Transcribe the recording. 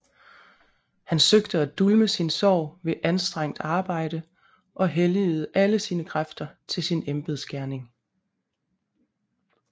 Han søgte at dulme sin sorg ved anstrengt arbejde og helligede alle sine kræfter til sin embedsgerning